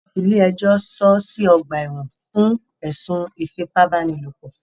Ilé ẹjọ́ sọọ́ sí ọ̀gbà ẹ̀wọ̀n fún ẹ̀sùn ìfipábánilòpò.